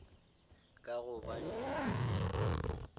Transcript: ka gobane a be a